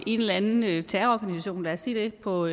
en eller anden terrororganisation lad os sige det på